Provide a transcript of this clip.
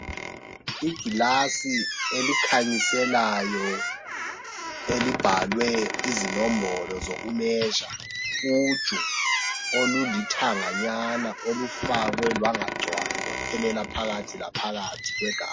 Igilasi elikhanyiselayo elibhalwe izinombolo zokumezha utsho olulithanganyana olufakwe lwangagcwali lwaphelela phakathi laphakathi kwegabha.